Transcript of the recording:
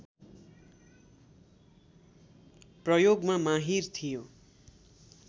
प्रयोगमा माहिर थियो